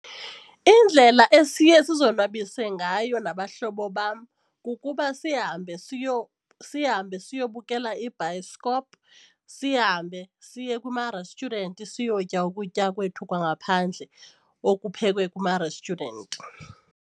Indlela esiye sizonwabise ngayo nabahlobo bam kukuba sihambe sihambe siyobukela ibhayiskop sihambe siye kumarestyurenti siyotya ukutya kwethu kwangaphandle okuphekwe kumarestyurenti.